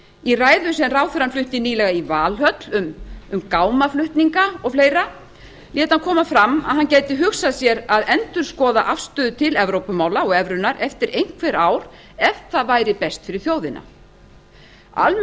í ræðu sem ráðherrann flutti nýlega í valhöll um gámaflutninga og fleiri lét hann koma fram að hann gæti hugsað sér að endurskoða afstöðuna til evrópumála og evrunnar eftir einhver ár ef að það væri best fyrir þjóðina almennt